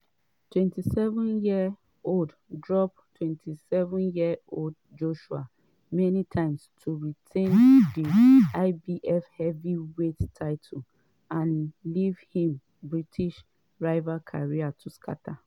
di 27-year-old drop 27-year-old drop joshua many times to retain di ibf heavyweight title and leave im british rival career to scata.